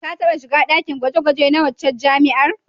Ka taɓa shiga ɗakin gwaje-gwaje na waccan jami'ar?